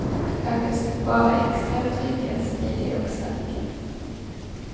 Här finns det bara extra trygga, smidiga och starka.